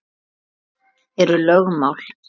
Hvað eru lögmál?